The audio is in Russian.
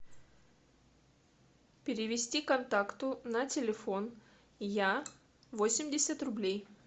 перевести контакту на телефон я восемьдесят рублей